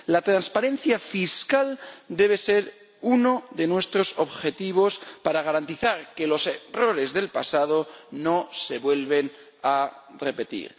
La transparencia fiscal debe ser uno de nuestros objetivos para garantizar que los errores del pasado no se vuelven a repetir.